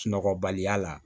Sunɔgɔbaliya la